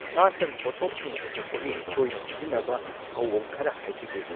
ꯁꯥ ꯁꯟ ꯄꯣꯠꯊꯣꯛꯁꯤꯡ ꯄꯨꯊꯣꯛꯄꯒꯤ ꯇꯣꯏꯅ ꯁꯤꯖꯤꯟꯅꯕ ꯊꯩꯑꯣꯡ ꯈꯔ ꯍꯥꯏꯖꯒꯦ꯫